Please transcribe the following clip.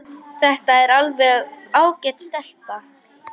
Þetta er alveg ágæt stelpa.